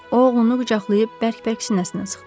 O oğlunu qucaqlayıb bərk-bərk sinəsinə sıxdı.